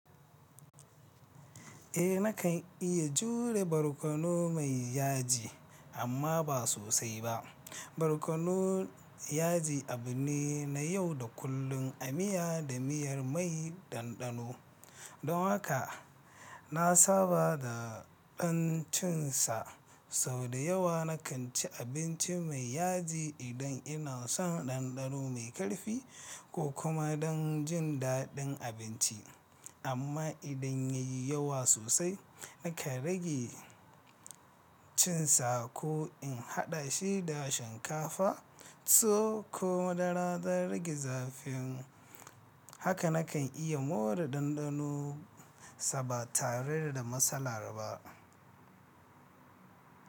Eh nakan iya jure barkono mai yaji amma ba sosai ba. Barkono yaji abu ne na yau da kullun a miya da miyar mai ɗanɗano. Don haka na saba da ɗan cin sa. Sau da yawa nakan ci abinci mai yaji idan ina son ɗanɗano mai ƙarfi ko kuma don jin daɗin abinci. Amma idan ya yi yawa sosai nakan rage cin sa ko in haɗa shi da shinkafa to ko madara don rage zafin. Haka na kan iya more ɗanɗano sa ba tare da matsala ba.